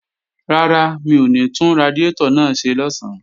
Rárá, mi ò ní tún radiátọ̀ náà ṣe lọ̀sán